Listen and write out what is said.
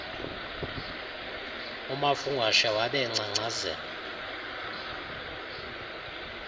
umafungwashe wabe engcangcazela